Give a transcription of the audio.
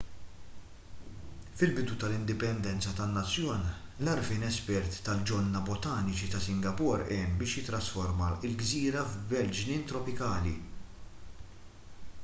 fil-bidu tal-indipendenza tan-nazzjon l-għarfien espert tal-ġonna botaniċi ta' singapore għen biex jittrasforma l-gżira f'belt ġnien tropikali